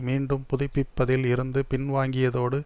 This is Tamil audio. மீண்டும் புதுப்பிப்பதில் இருந்து பின்வாங்கியதோடு